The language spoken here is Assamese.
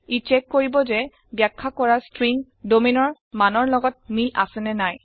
ই ছেক কৰিব যে বাখ্যা কৰা স্ত্ৰীংগ domainৰ মানৰ লগত মিল আছে নে নাই